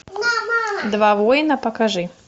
два воина покажи